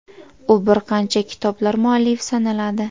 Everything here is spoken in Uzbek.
U bir qancha kitoblar muallifi sanaladi.